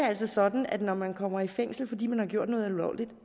altså sådan at når man kommer i fængsel fordi man har begået noget ulovligt